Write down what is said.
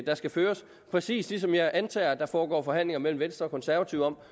der skal føres præcis ligesom jeg antager at der foregår forhandlinger mellem venstre og konservative om